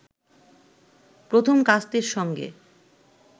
প্রথম কাস্তের সঙ্গে